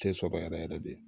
Tɛ sɔrɔ yɛrɛ yɛrɛ de